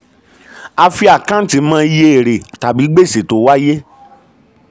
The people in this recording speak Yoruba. a fi àkáǹtì mọ iye èrè tàbí gbèsè tó wáyé.